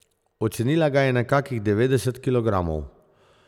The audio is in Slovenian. Ocenila ga je na kakih devetdeset kilogramov.